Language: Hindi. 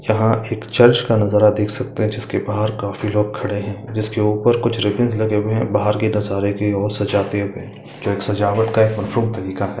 यहाँ चर्च का नजारा देख सकते है जिसके बाहर काफी लोग खड़े है जिसके ऊपर कुछ रिबनस लगे है बाहर के नज़ारे की और सजाते हुए जो सजावट का है उपयुक्त तरीका है।